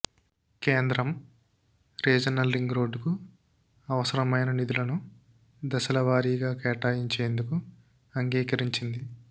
కేంద్రం regional ring రోడ్డుకు అవసరమైన నిధులను దశలవారీగా కేటాయించేందుకు అంగీకరించింది